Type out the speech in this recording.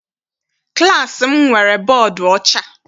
Klassi m nwere bọdu ọcha.